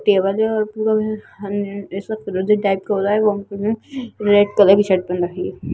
Table है और पूरा रेड कलर की शर्ट पहन रखी है।